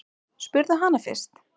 Spurðu hana fyrst.